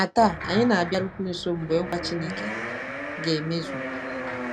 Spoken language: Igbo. Ma taa, anyị na-abịarukwu nso mgbe nkwa Chineke ga-emezu.